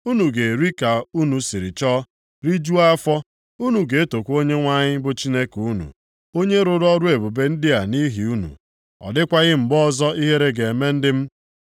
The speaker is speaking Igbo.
Unu ga-eri ka unu siri chọọ, rijuchaa afọ, unu ga-etokwa Onyenwe anyị bụ Chineke unu, onye rụrụ ọrụ ebube ndị a nʼihi unu. Ọ dịkwaghị mgbe ọzọ ihere ga-eme ndị m.